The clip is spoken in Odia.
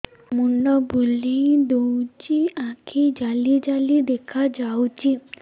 ମୁଣ୍ଡ ବୁଲେଇ ଦଉଚି ଆଖି ଜାଲି ଜାଲି ଦେଖା ଯାଉଚି